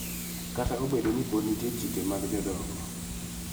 Kata obedo ni pod nitie chike mag jodongo,